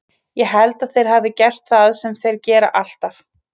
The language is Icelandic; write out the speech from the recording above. Ég held að þeir hafi gert það sem þeir gera alltaf.